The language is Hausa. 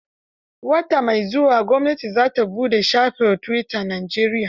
Wata mai zuwa gwamnati za ta buɗe shafin tuwita a Najeriya.